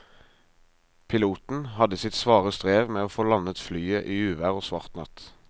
Piloten hadde sitt svare strev med å få landet flyet i uvær og svart natt.